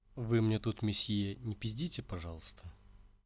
вы мне тут миссье не пиздите пожалуйста